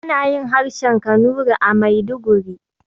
Ana yin harshen Kanuri a Maiduguri.